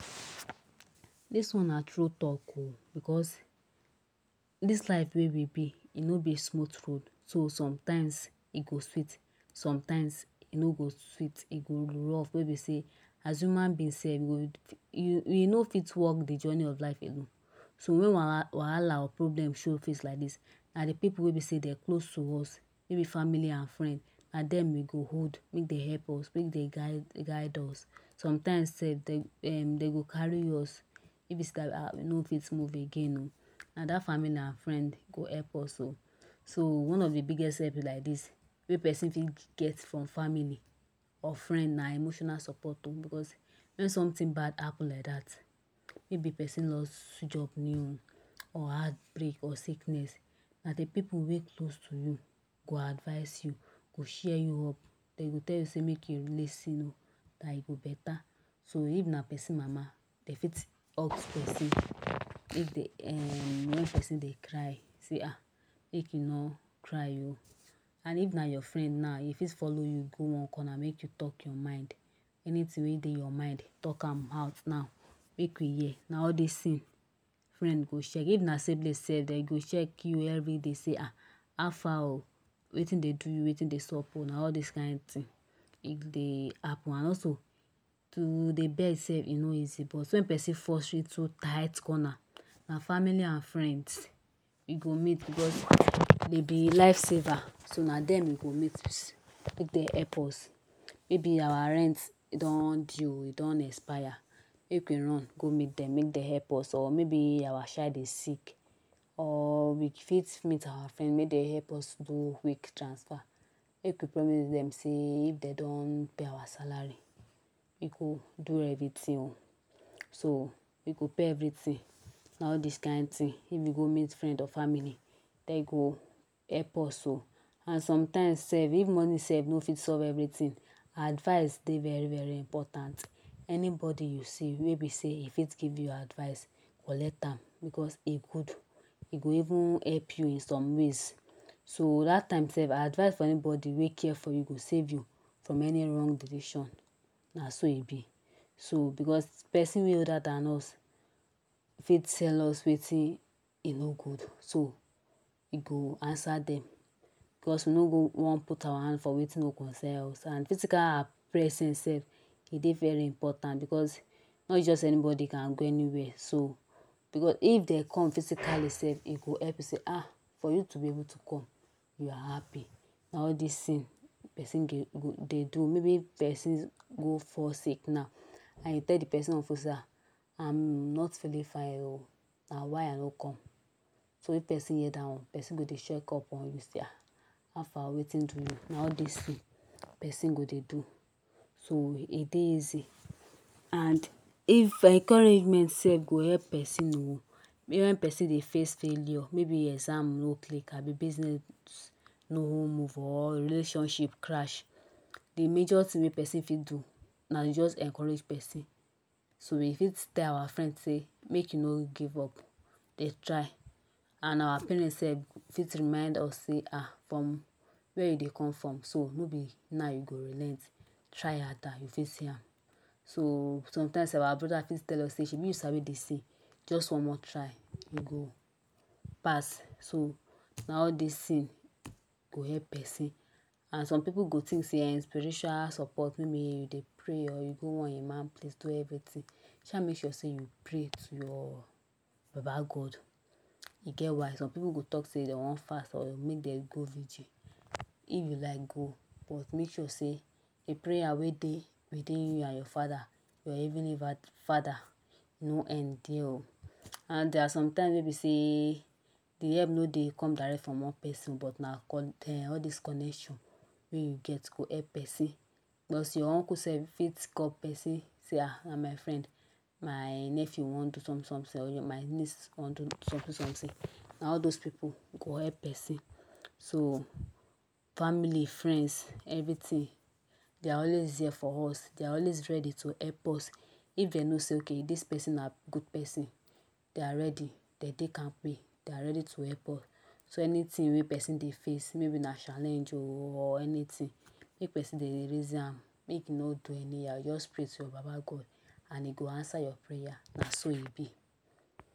Dis one na true talk um, because dis life wey we be e nor be smooth road, so sometimes e go sweet sometimes e nor go sweet e go rough wey e be sey as human being self you go you nor fit walk de journey of life alone. So wen wahala or problem go show face like dis na de pipu wey e be sey dem close to us maybe family and friend, na dem we go hold make dem help us make dem guide guide us. Sometimes self um dem go carry us nor fit move again um na dat family and friend go help us um. So one of de biggest help like dis wey person fit get from family or friend na emotional support um, because wen something bad happen like dat maybe person loss job um or heartbreak or sickness na de pipu wey close to you go advise you, go cheer you up, then dem go tell you say make you loosen up dat e go better. So if na person mama dem fit hug person if dem um wen person dey cry sey um make you nor cry um and if na your friend na e fit follow you go one corner make you talk your mind, anything wey dey your mind talk am out now make we hear, na all dis things friend go check. If na siblings self dem go check you everyday say um how far o wetin dey do you, wein dey sop um na all dis kind thing e dey happen and also to dey beg self e nor easy but wen person force you into tight corner na family and friends e go meet because de dey life saver, so na dem we go meet make dem help us maybe our rent don due, e don expire make we run go meet dem make dem help us or maybe our child dey sick or we fit meet our friend make dem help us do quick transfer, make we promise dem sey if dem don pay us our salary we go do everything. So we go pay everything, na all dis kind thing if we go meet friend or family dem go help us o and sometime self if money nor fit solve everything, advice dey very very important anybody you see wey be sey e fit give you advice collect am, because e good e go even help you in some ways. So dat time self advice from anybody wey care for you go save you from any wrong decision na so e be. So because person wey older than us, e fit tell us wetin e nor good so e go answer dem, because e nor go want put our hand for wetin nor concern us and physical self e dey very important because not just anybody can go anywhere so because if dem come physically e go help you say for you to be able to come we are happy, na all dis thing person dey dey do maybe person go fall sick now and you tell de person officer I am not feeling fine o na why I nor come. So if person hear dat one person go dey check up on you say um how far wetin do you, na all dis things person go dey do. So e dey easy and if encouragement self go help person wen person dey face failure, maybe exam nor click, abi business nor move or relationship crash de major thing wey person fit do na to just encourage person. So we fit tell our friend say make e nor give up, dey try and our parents self fit remind us say um from where you dey come from so nor be now you go relent, try harder you fit see am. So sometimes our brother fit tell us say shebi you sabi dis thing just one more try you go pass, so na all dis things go help person and some pipu go think sey spiritual support maybe you dey pray or you go one Imam place do everything, sha make sure sey you pray to your Baba God e get why. Some pipu go talk say dem want fast or make dem go vigil, if you like go but make sure sey de prayer wey dey within you and your father, your Heavenly father nor end there o and there are sometimes wey de help nor dey come direct from one person but na um all dis connection wey you get go help person, plus your uncle self fit call person say um my friend, my nephew want do something something or my niece want do something something, na all those pipu go help person. So family, friends, everything de are always there for us, de are always ready to help us, if de know say ok dis person na good person, they are ready, dem dey kampe, they ready to help us. So anything person dey face maybe na challenge or anything make person dey reason am, make e nor do anyhow, just pray to Baba God and He go answer your prayer na so e be.